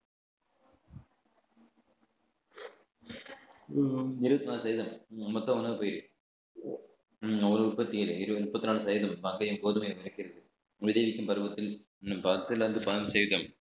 உம் இருபத்தி நாலு சதவீதம் மொத்தம் ஒண்ணா போயிரும் ஒரு உற்பத்தியிலே இருபது முப்பத்தி நாலு சதவீதம் கோதுமையை மறைக்கிறது விளைவிக்கும் பருவத்தில் இன்னும் பத்துல இருந்து பதினைந்து சதவீதம்